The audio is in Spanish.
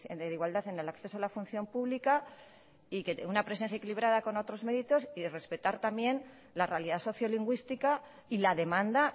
de igualdad en el acceso a la función pública una presencia equilibrada con otros méritos y respetar también la realidad sociolingüística y la demanda